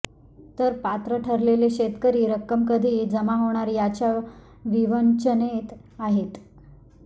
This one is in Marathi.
तर पात्र ठरलेले शेतकरी रक्कम कधी जमा होणार याच्या विवंचनेत आहेत